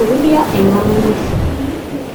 akorurio en kabungui